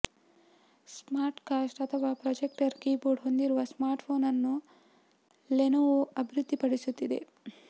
smart cast ಅಥವಾ projector keyboard ಹೊಂದಿರುವ smartphone ಅನ್ನು ಲೆನೊವೊ ಅಭಿವೃದ್ದಿಪಡಿಸುತ್ತಿದೆ